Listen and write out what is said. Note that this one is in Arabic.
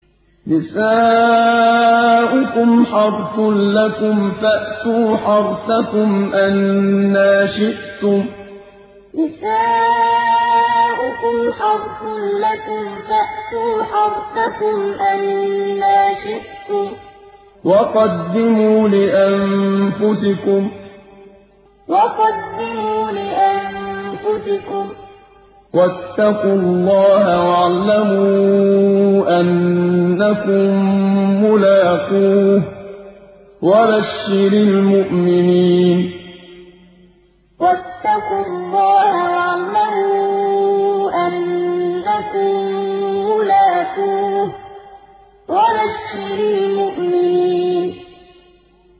نِسَاؤُكُمْ حَرْثٌ لَّكُمْ فَأْتُوا حَرْثَكُمْ أَنَّىٰ شِئْتُمْ ۖ وَقَدِّمُوا لِأَنفُسِكُمْ ۚ وَاتَّقُوا اللَّهَ وَاعْلَمُوا أَنَّكُم مُّلَاقُوهُ ۗ وَبَشِّرِ الْمُؤْمِنِينَ نِسَاؤُكُمْ حَرْثٌ لَّكُمْ فَأْتُوا حَرْثَكُمْ أَنَّىٰ شِئْتُمْ ۖ وَقَدِّمُوا لِأَنفُسِكُمْ ۚ وَاتَّقُوا اللَّهَ وَاعْلَمُوا أَنَّكُم مُّلَاقُوهُ ۗ وَبَشِّرِ الْمُؤْمِنِينَ